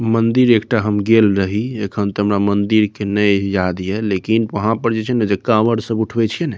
मंदिर एकटा हम गेल रही | एखन त हमरा मंदिर के नए याद हैं लेकिन वहाँ पर जइ छे ना त कावर सब उठावे छे ना --